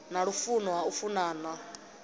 na lufuno ha u funana